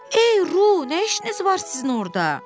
Ey Ru, nə işiniz var sizin orda?